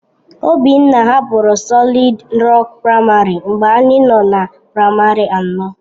Obinna hapụrụ Solịd Rok Praịmarị mgbe anyị nọ na praịmarị anọ.